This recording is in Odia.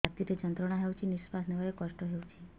ଛାତି ରେ ଯନ୍ତ୍ରଣା ହେଉଛି ନିଶ୍ଵାସ ନେବାର କଷ୍ଟ ହେଉଛି